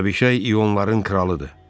Abişay ionların kralıdır.